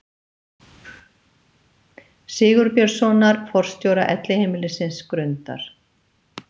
Sigurbjörnssonar, forstjóra Elliheimilisins Grundar.